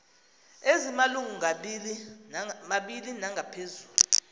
ezimalungu mabini nangaphezulu